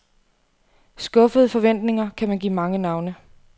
Skuffede forventninger kan man give mange navne.